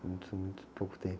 Muito, muito pouco tempo.